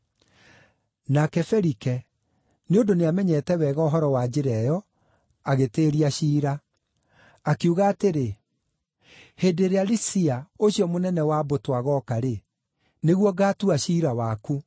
Nake Felike, nĩ ũndũ nĩamenyete wega ũhoro wa Njĩra ĩyo, agĩtĩĩria ciira. Akiuga atĩrĩ, “Hĩndĩ ĩrĩa Lisia, ũcio mũnene wa mbũtũ agooka-rĩ, nĩguo ngaatua ciira waku.”